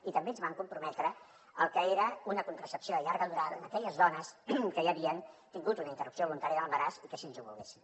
i també ens vam comprometre al que era una contracepció de llarga durada en aquelles dones que ja havien tingut una interrupció voluntària de l’embaràs i que així ho volguessin